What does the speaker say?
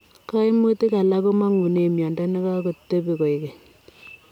Kaimutik alaak komangunee miondoo nekakotepoo koek keny .